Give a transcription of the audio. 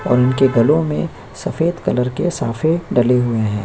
और उनके गलों में सफेद कलर के साफे डाले हुए हैं।